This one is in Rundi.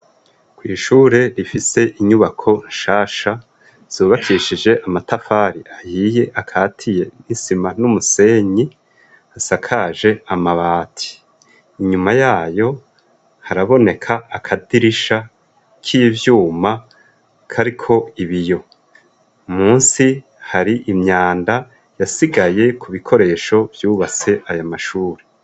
kw' ishure rifise inyubako nshasha zubakishije amatafari ahiye akatiye n'isima n'umusenyi asakaje amabati inyuma yayo haraboneka akadirisha n'ivyuma kariko ibiyo munsi hari imyanda yasigaye ku bikoresho vyubase aya mashuri